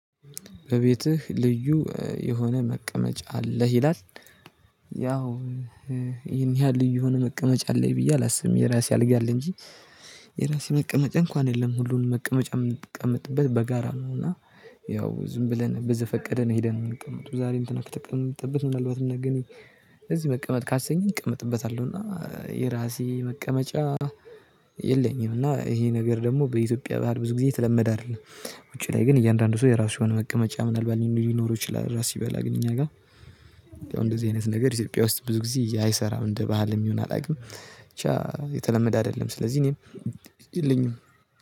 በቤትህ ልዩ የሆነ መቀመጫ አለህ ይላል? ያው ይሄን ያህል ልዩ የሆነ መቀመጫ አለኝ ብዬ አላስብም የራሴ አልጋ አለ እንጂ። የራሴ መቀመጫ እንኳን የለም ሁሉንም መቀመጫ የምትቀምጥበት በጋራ ነው። እና ያው ዝም ብለን በዘፈቀደን ሄደን የምንቀመጠው ዛሬ እንትነ ከተቀመጠበት ምናልባት ነገ እነ እዚህ መቀመጥ ካሰኛኝ እቀመጥበታለሁና። የራሴ መቀመጫ የለኝም። እና ይሄ ነገር ደግሞ በኢትዮጵያ ባህል ብዙ ጊዜ የተለመደ አይደለም። ውጪ ላይ ግን እያንዳንዱ ሰው የራሱ የሆነ መቀመጫ ምናልባት ሊኖር ይችላል። ራስ ሲበላ ግን እኛ ጋር እንደዚህ አይነት ነገር ኢትዮጵያ ውስጥ ብዙ ጊዜ አይሰራም እንደ ባህልም ይሁን አላውቅም። የተለመደ አይደለም ስለዚህ እኔም የለኝም